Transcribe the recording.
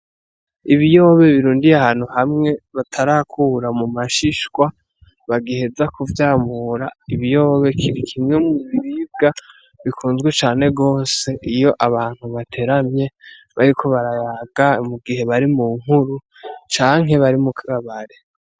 Ibiyobe birundiye ahantu hamwe batarakura mu mashishwa bagiheza kuvyamura ibiyoba kiri kimwe mu biribwa bikunzwe cane gose iyo abantu bateramye bariko barayaga mu gihe bari mu nkuru canke bari mu kabare.